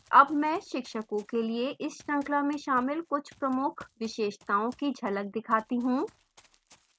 अब मैं शिक्षकों के लिए इस श्रृंखला में शामिल कुछ प्रमुख विशेषताओं की झलक दिखाती हूँ